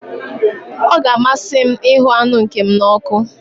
Ọ ga-amasị m ịhụ anụ nke m n'ọkụ.